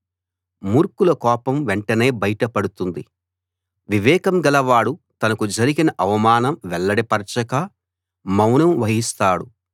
మూర్ఖుల కోపం వెంటనే బయట పడుతుంది వివేకం గలవాడు తనకు జరిగిన అవమానం వెల్లడి పరచక మౌనం వహిస్తాడు